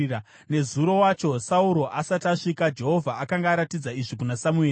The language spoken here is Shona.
Nezuro wacho Sauro asati asvika, Jehovha akanga aratidza izvi kuna Samueri: